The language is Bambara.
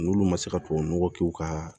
N'olu ma se ka tubabu nɔgɔ k'u ka